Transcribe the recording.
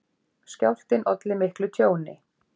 Skjálftinn olli miklu tjóni